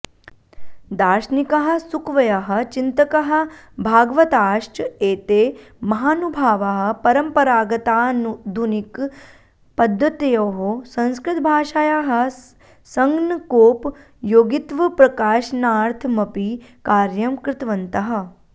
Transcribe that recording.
दार्शनिकाः सुकवयः चिन्तकाः भागवताश्च एते महानुभावाः परम्परागताधुनिकपद्धत्योः संस्कृतभाषायाः सङ्गणकोपयोगित्वप्रकाशनार्थमपि कार्यं कृतवन्तः